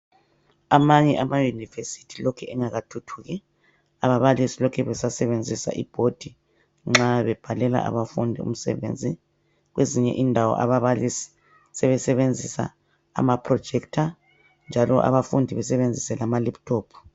Amanye amayunivesithi lokhe engakathuthuki, ababalisi lokhe besasebenzisa ibhodi nxa bebhalela abafundi umsebenzi. Kwezinye indawo ababalisi sebesebenzisa amaprojector njalo labafundi besebenzise amalephuthophu.